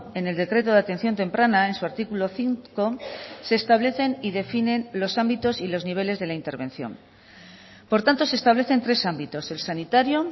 en el decreto de atención temprana en su artículo cinco se establecen y definen los ámbitos y los niveles de la intervención por tanto se establecen tres ámbitos el sanitario